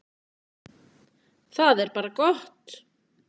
Það er bara gott.